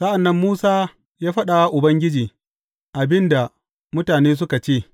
Sa’an nan Musa ya faɗa wa Ubangiji abin da mutane suka ce.